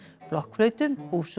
blokkflautu